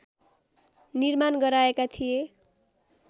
निर्माण गराएका थिए